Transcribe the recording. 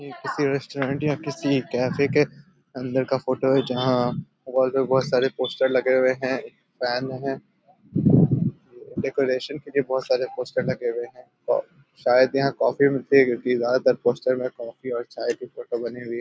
ये किसी रेस्टोरेंट या किसी कैफ़े के अंदर का फोटो है जहां वाल पे बहुत सारे पोस्टर लगे हुए हैं फैन है डेकोरेशन के लिए बहुत सारे पोस्टर लगे हुए हैं और शायद यहाँ काफी मिलती होगी दीवार पर पोस्टर में काफी और चाय की फोटो बनी हुई है।